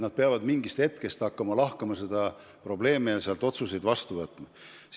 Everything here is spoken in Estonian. Nad peavad hakkama seda probleemi mingist hetkest alates lahkama ja otsuseid vastu võtma.